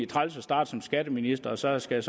træls at starte som skatteminister og så skulle